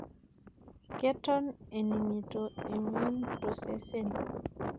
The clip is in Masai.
Keton aningito emion tosesen.